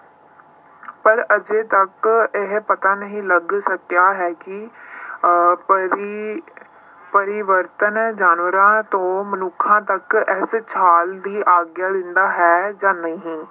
ਪਰ ਅਜੇ ਤੱਕ ਇਹ ਪਤਾ ਨਹੀਂ ਲੱਗ ਸਕਿਆ ਹੈ ਕਿ ਅਹ ਪਰੀ~ ਪਰਿਵਰਤਨ ਜਾਨਵਰਾਂ ਤੋਂ ਮਨੁੱਖਾਂ ਤੱਕ ਇਸ ਛਾਲ ਦੀ ਆਗਿਆ ਦਿੰਦਾ ਹੈ ਜਾਂ ਨਹੀਂ।